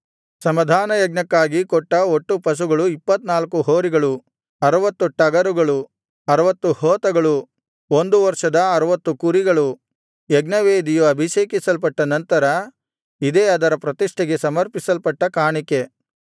ಸಮಾಧಾನಯಜ್ಞಕ್ಕಾಗಿ ಕೊಟ್ಟ ಒಟ್ಟು ಪಶುಗಳು 24 ಹೋರಿಗಳು 60 ಟಗರುಗಳು 60 ಹೋತಗಳು ಒಂದು ವರ್ಷದ 60 ಕುರಿಗಳು ಯಜ್ಞವೇದಿಯು ಅಭಿಷೇಕಿಸಲ್ಪಟ್ಟ ನಂತರ ಇದೇ ಅದರ ಪ್ರತಿಷ್ಠೆಗೆ ಸಮರ್ಪಿಸಲ್ಪಟ್ಟ ಕಾಣಿಕೆ